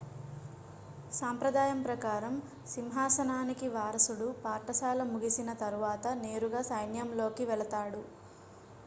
సాంప్రదాయం ప్రకారం సింహాసనానికి వారసుడు పాఠశాల ముగిసిన తరువాత నేరుగా సైన్యంలోకి వెళ్తాడు